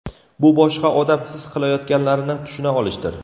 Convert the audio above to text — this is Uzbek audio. Bu boshqa odam his qilayotganlarini tushuna olishdir.